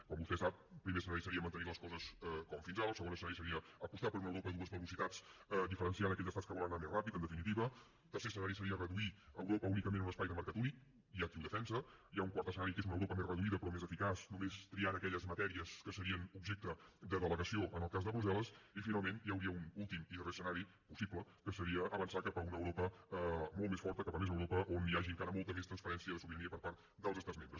com vostè sap el primer escenari seria mantenir les coses com fins ara el segon escenari seria apostar per una europa a dues velocitats diferenciant hi aquells estats que volen anar més de pressa en definitiva el tercer escenari seria reduir europa únicament a un espai de mercat únic hi ha qui ho defensa hi ha un quart escenari que és una europa més reduïda però més eficaç només triant aquelles matèries que serien objecte de delegació en el cas de brussel·les i finalment hi hauria un últim i darrer escenari possible que seria avançar cap a una europa molt més forta cap a més europa on hi hagi encara molta més transparència de sobirania per part dels estats membres